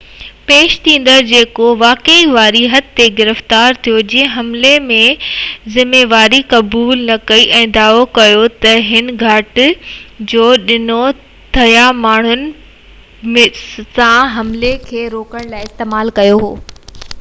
پيش ٿيندڙ، جيڪو واقعي واري حد تي گرفتار ٿيو، جنهن حملي جي ذميواري قبول نہ ڪئي ۽ دعويٰ ڪيو تہ هن ڪاٺ جو ڏنڊو ٽيهہ ماڻهن پاران بوتلن سان حملي کي روڪڻ لاءِ استعمال ڪيو هو